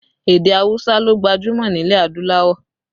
Èdè awusa ló gbajúmọ̀ nílẹ̀ adúláwọ̀